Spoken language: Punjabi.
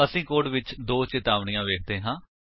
ਅਸੀਂ ਕੋਡ ਵਿੱਚ 2 ਚਿਤਾਵਨੀਆਂ ਵੇਖਦੇ ਹਾਂ